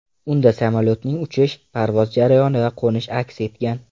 Unda samolyotning uchish, parvoz jarayoni va qo‘nishi aks etgan .